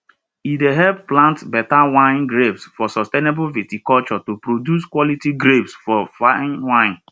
e dey help plant better wine grapes for sustainable viticulture to produce quality grapes for fine wine